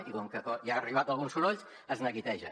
i com que ja els han arribat alguns sorolls es neguitegen